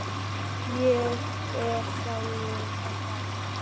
Ég er sjálfur að fara.